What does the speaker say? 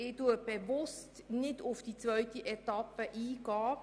Ich gehe bewusst nicht auf die zweite Etappe ein.